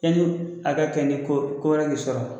Yani a ka kɛ ni ko ko wɛrɛ k'i sɔrɔ